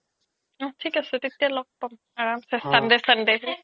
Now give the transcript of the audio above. অ থিক আছে তেতিয়া লগ পাম আৰামছে sunday sunday